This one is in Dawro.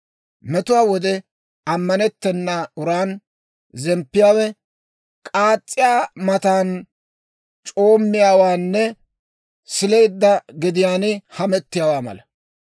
Metuwaa wode ammanettena uran zemppiyaawe k'aas's'iyaa matan c'oommiyaawaanne sileedda gediyaan hamettiyaawaa mala.